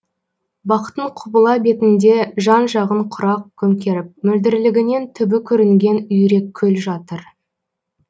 бақтың құбыла бетінде жан жағын құрақ көмкеріп мөлдірлігінен түбі көрінген үйреккөл жатыр